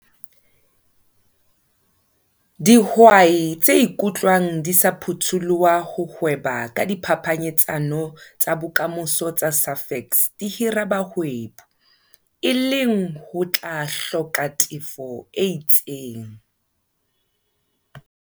Dihwai tse ikutlwang di sa phutholoha ho hweba ka diphapanyetsano tsa Bokamoso tsa Safex di hira bahwebi, e leng ho tla hloka tefo e itseng.